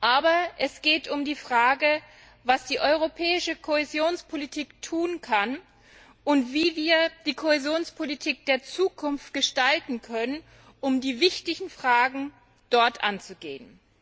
Aber es geht um die Frage, was die europäische Kohäsionspolitik tun kann und wie wir die Kohäsionspolitik der Zukunft gestalten können, um die wichtigen Fragen dort anzugehen.